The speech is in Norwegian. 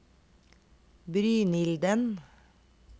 Brynilden